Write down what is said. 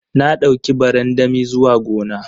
Na dauki barandami zuwa gona.